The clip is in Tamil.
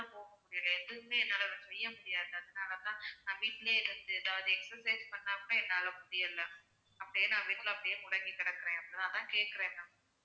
போக முடியல எதுவுமே என்னால செய்ய முடியாது அதனால தான் நான் வீட்டுலயே இருந்து ஏதாவது exercise பண்ணா கூட என்னால முடியல அப்படியே நான் வீட்டுக்குள்ள முடங்கி கிடக்கிறேன் அதான் கேக்குறேன் ma'am